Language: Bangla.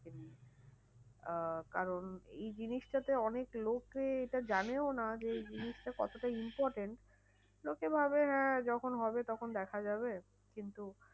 আহ কারণ এই জিনিসটাতে অনেক লোকে এটা জানেও না যে এই জিনিসটা কতটা important. লোকে ভাবে হ্যাঁ যখন হবে তখন দেখা যাবে। কিন্তু